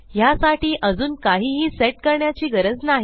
ह्यासाठी अजून काहीही सेट करण्याची गरज नाही